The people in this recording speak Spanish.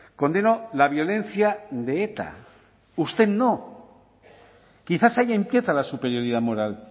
condeno la violencia de eta usted no quizás ahí empieza la superioridad moral